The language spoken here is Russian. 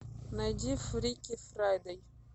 найди фрики фрайдэй